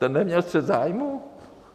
Ten neměl střet zájmů?